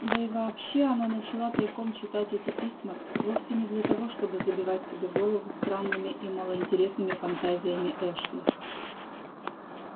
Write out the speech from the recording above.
да и вообще она начала тайком читать эти письма вовсе не для того чтобы забивать себе голову странными и малоинтересными фантазиями эшли